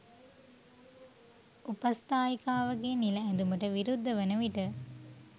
උපස්තායිකාවගේ නිල ඇදුමට විරුද්ධ වන විට